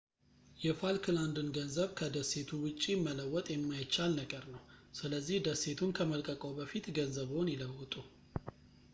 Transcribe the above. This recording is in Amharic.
የፋልክላንድን ገንዘብ ከዴሴቱ ውጪ መለወጥ የማይቻል ነገር ነው ስለዚህ ደሴቱን ከመልቀቅዎ በፊት ገንዘብዎን ይለውጡ